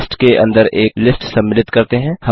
list के अंदर एक लिस्ट सम्मिलित करते हैं